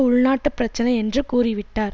உள்நாட்டுப் பிரச்சினை என்று கூறிவிட்டார்